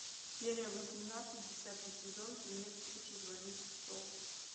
серия восемнадцать десятый сезон фильмец лучше звоните солу